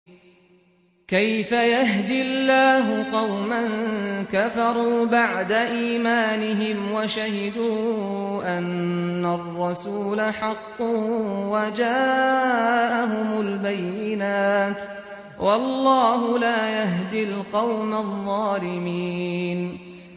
كَيْفَ يَهْدِي اللَّهُ قَوْمًا كَفَرُوا بَعْدَ إِيمَانِهِمْ وَشَهِدُوا أَنَّ الرَّسُولَ حَقٌّ وَجَاءَهُمُ الْبَيِّنَاتُ ۚ وَاللَّهُ لَا يَهْدِي الْقَوْمَ الظَّالِمِينَ